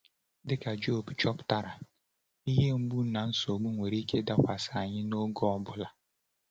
Dịka Jọb chọpụtara, ihe mgbu na nsogbu nwere ike ịdakwasị anyị n’oge ọ bụla.